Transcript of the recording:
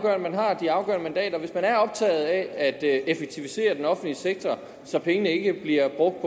at man har de afgørende mandater hvis man er optaget af at effektivisere den offentlige sektor så pengene ikke bliver brugt